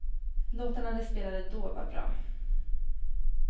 Låtarna de spelade då var bra.